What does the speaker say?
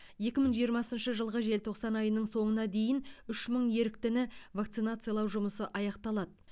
екі мың жиырмасыншы жылғы желтоқсан айының соңына дейін үш мың еріктіні вакцинациялау жұмысы аяқталады